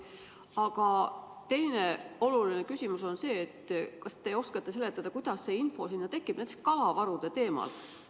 Aga teine oluline küsimus on see: kas te oskate seletada, kuidas see info sinna tekib, näiteks kalavarude teemal?